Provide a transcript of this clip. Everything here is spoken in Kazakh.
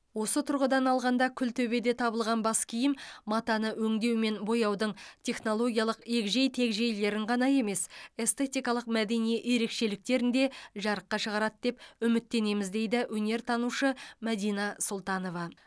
осы тұрғыдан алғанда күлтөбеде табылған бас киім матаны өңдеу мен бояудың технологиялық егжей тегжейлерін ғана емес эститкалық мәдени ерекшеліктерін де жарыққа шығарады деп үміттенеміз дейді өнертанушы мәдина сұлтанова